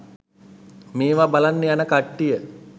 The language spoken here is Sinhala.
මේව බලන්න යන කට්ටිය